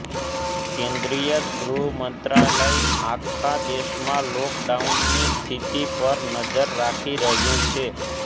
કેન્દ્રિય ગૃહ મંત્રાલય આખા દેશમાં લોકડાઉનની સ્થિતિ પર નજર રાખી રહ્યું છે